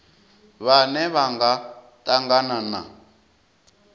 vhane vha nga tangana na